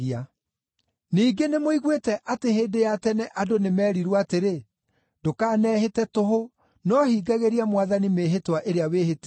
“Ningĩ, nĩmũiguĩte atĩ hĩndĩ ya tene andũ nĩmerirwo atĩrĩ, ‘Ndũkanehĩte tũhũ, no hingagĩria Mwathani mĩĩhĩtwa ĩrĩa wĩhĩtĩte.’